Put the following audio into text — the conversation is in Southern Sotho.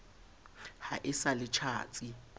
ha e sa le tjhatsi